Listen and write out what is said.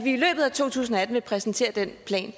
to tusind og atten vil præsentere den plan